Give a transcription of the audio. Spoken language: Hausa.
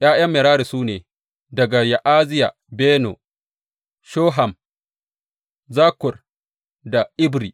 ’Ya’yan Merari su ne, daga Ya’aziya, Beno, Shoham, Zakkur da Ibri.